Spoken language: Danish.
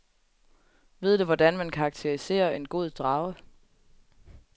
Ved du hvordan man karakteriserer en god drage?